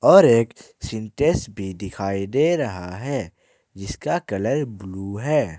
और एक सिंटेक्स भी दिखाई दे रहा है जिसका कलर ब्लू है।